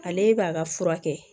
Ale b'a ka fura kɛ